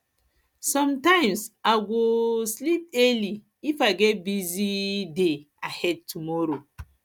sometimes i go um sleep early if i get busy um day ahead tomorrow